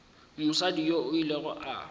mosadi yoo o ile a